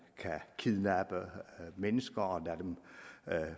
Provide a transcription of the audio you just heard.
kan kidnappe mennesker og lade dem